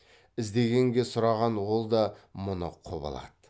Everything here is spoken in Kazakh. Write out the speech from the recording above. іздегенге сұраған ол да мұны құп алады